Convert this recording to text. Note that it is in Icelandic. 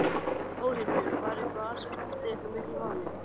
Þórhildur: Var það eitthvað sem skipti eitthvað miklu máli?